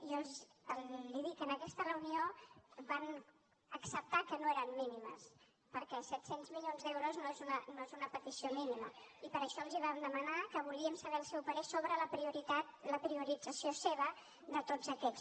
jo li dic en aquesta reunió van acceptar que no eren mínimes perquè set cents milions d’euros no és una petició mínima i per això els vam demanar que volíem saber el seu parer sobre la priorització seva de tots aquests